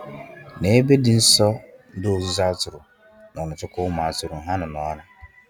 Nebe di nsọ ndi ozuzu atụrụ nọ nechekwa ụmu atụrụ ha nọ nura.